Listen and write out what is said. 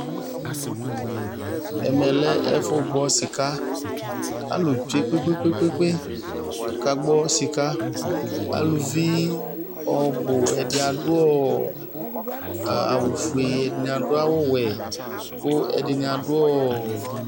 Ɛmɛ lɛ ɛfu gbɔ sika Alu tsue kpekpekpe Ku akagbɔ sika Aluvi ɔbu ɛdi adu awu ɔfue ɛdini adu awu ɔwɛ ku ɛdini adu ɔɔ